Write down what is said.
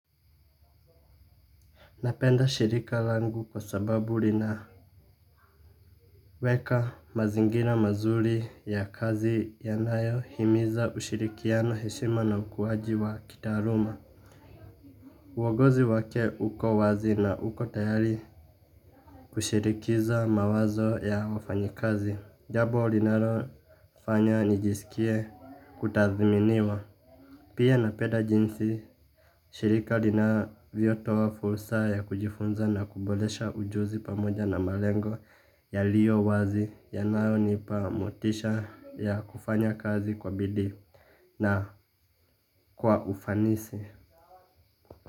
Ninapenda shirika langu kwa sababu linaweka mazingira mazuri ya kazi yanayo himiza ushirikiano, heshima na ukuaji wa kitaaluma. Uongozi wake uko wazi na uko tayari kushirikiza mawazo ya wafanyakazi. Jabo linalofanya nijisikie kutaziminiwa. Pia ninapeda jinsi, shirika linavyotoa fursa ya kujifunza na kuboresha ujuzi pamoja na malengo yaliyo wazi yanayonipa motisha ya kufanya kazi kwa bidii na kwa ufanisi.